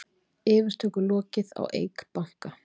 Yfirtöku lokið á Eik banka